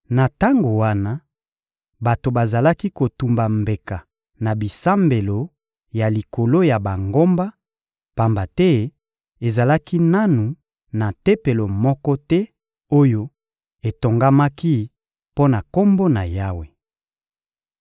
Na tango wana, bato bazalaki kotumba mbeka na bisambelo ya likolo ya bangomba, pamba te ezalaki nanu na tempelo moko te oyo etongamaki mpo na Kombo na Yawe.